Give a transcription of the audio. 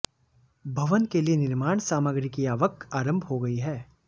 भवन के लिए निर्माण सामग्री की आवक आरंभ हो गई है